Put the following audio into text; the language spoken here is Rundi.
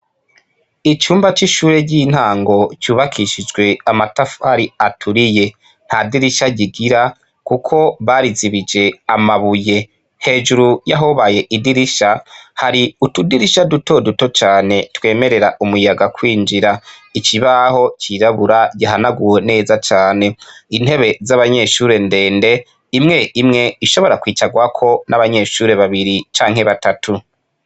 Icumba c'ishure ry'intango cubakishijwe amatafari aturiye. Nta dirisha kigira, kuko barizije amabuye. Hejuru y'ahobaye idirisha, hari utudirisha dutoduto cane twemerera umuyaga kwinjira. Ikibaho cirabura gihanaguwe neza cane. Intebe z'abanyeshure ndende, imwe imwe ishobora kwicarwako n'abanyeshure babiri canke batatu.